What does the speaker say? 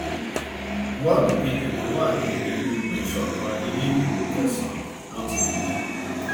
wọọlù kejì tó wà ní ìgbógunìsókàn ilé ìdìbò kẹsànán ló ti dìbò